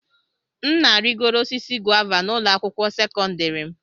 M na-arịgoro osisi guava na ụlọ akwụkwọ sekọndrị m.